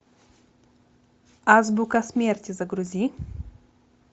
азбука смерти загрузи